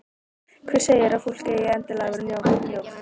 Hver segir að fólk eigi endilega að vera mjótt?